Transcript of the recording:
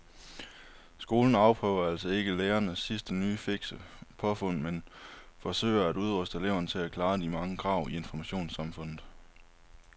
Skolen afprøver altså ikke lærernes sidste nye fikse påfund men forsøger at udruste eleverne til at klare de mange krav i informationssamfundet.